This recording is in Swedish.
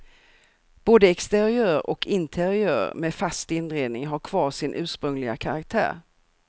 Både exteriör och interiör med fast inredning har kvar sin ursprungliga karaktär.